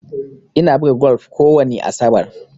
Ina buga golf kowani asabar.